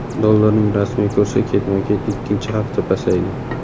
Dollarning rasmiy kursi ketma-ket ikkinchi hafta pasaydi.